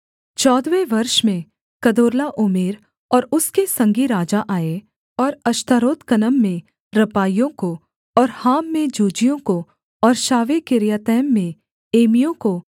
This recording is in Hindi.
चौदहवें वर्ष में कदोर्लाओमेर और उसके संगी राजा आए और अश्तारोत्कनम में रापाइयों को और हाम में जूजियों को और शावेकिर्यातैम में एमियों को